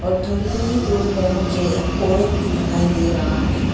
और थोड़ी ही दूर में मुझे एक औरत भी दिखाई दे रहा है।